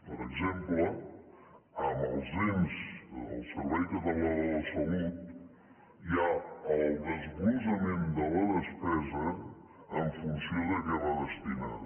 per exemple en els ens en el servei català de la salut hi ha el desglossament de la despesa en funció de a què va destinada